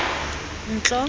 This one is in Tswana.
ntlo